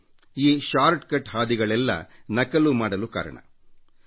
ಈ ಸುಲಭ ಹಾದಿಗಳೇ ನಕಲು ಮಾಡಲು ಅನುಚಿತ ಕಾರ್ಯಕ್ಕೆ ಕಾರಣವಾದವು